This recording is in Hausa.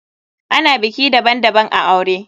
Ana biki daban daban a aure.